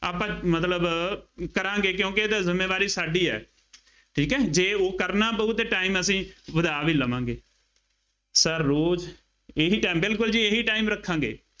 ਆਪਾਂ ਮਤਲਬ ਕਰਾਂਗੇ ਕਿਉਂਕਿ ਇਹ ਤਾਂ ਜ਼ਿੰਮੇਵਾਰੀ ਸਾਡੀ ਹੈ, ਠੀਕ ਹੈ, ਜੇ ਉਹ ਕਰਨਾ ਪਊ ਅਤੇ time ਅਸੀਂ ਵਧਾ ਵੀ ਲਵਾਂਗੇ। sir ਰੋਜ਼ ਇਹੀ time ਬਿਲਕੁੱਲ ਜੀ ਇਹੀ time ਰੱਖਾਂਗੇ।